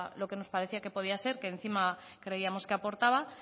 lo que nos parecía que podía ser que encima creíamos que aportaba